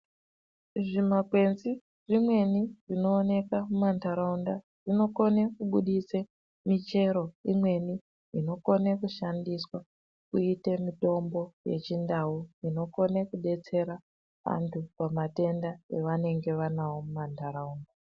Zvimakwenzi zvimweni zvinoenekwa mumantharaunda zvinokone kubuse michero imweni inokone kushandiswa kuite mitombo yechindau inokone kudetsera antu pamatenda avanenge vanawo mumantharaunda.